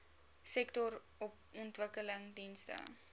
sektorontwikkelingdienste